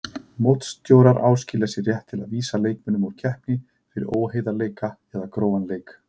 Mótsstjórar áskilja sér rétt til að vísa leikmönnum úr keppni fyrir óheiðarleika eða grófan leik.